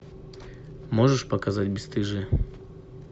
можешь показать бесстыжие